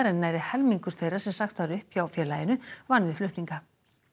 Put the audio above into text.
en nærri helmingur þeirra sem sagt var upp hjá félaginu vann við flutninga